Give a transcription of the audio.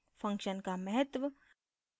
function का महत्व